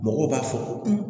Mɔgɔw b'a fɔ ko